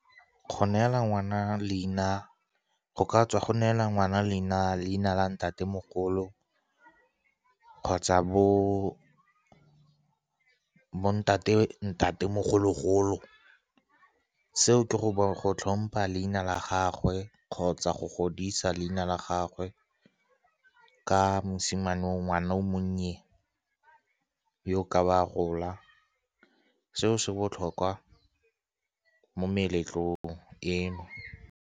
Go neela ngwana leina, go ka tswa go neela ngwana leina la ntatemogolo kgotsa bo ntatemogolo-golo. Seo ke go tlhompha leina la gagwe kgotsa go godisa leina la gagwe ka mosimane ngwana o monnye yo ka ba a gola. Seo se botlhokwa mo meletlong eno.